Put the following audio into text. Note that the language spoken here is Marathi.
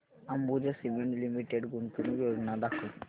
अंबुजा सीमेंट लिमिटेड गुंतवणूक योजना दाखव